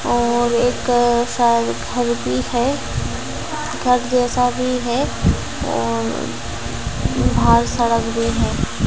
और एक साइड घर भी है घर जैसा भी है अ बाहर सड़क भी है।